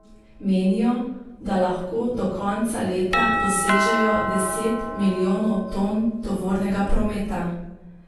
Menijo, da lahko do konca leta dosežejo deset milijonov ton tovornega prometa.